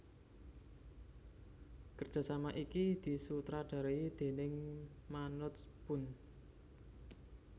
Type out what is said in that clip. Kerjasama iki disutradarai déning Manoj Punj